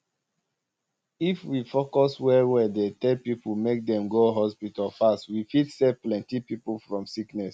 um if we focus well well dey tell people make dem go hospital fast we fit save plenty people from sickness